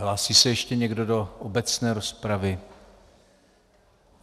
Hlásí se ještě někdo do obecné rozpravy?